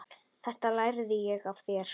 Þetta lærði ég af þér.